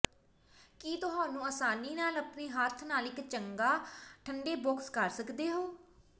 ਕਿ ਤੁਹਾਨੂੰ ਆਸਾਨੀ ਨਾਲ ਆਪਣੇ ਹੱਥ ਨਾਲ ਇੱਕ ਚੰਗਾ ਠੰਡੇ ਬਾਕਸ ਕਰ ਸਕਦੇ ਹੋ